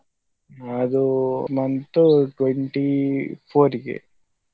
ಅದು month twenty four ಗೆ.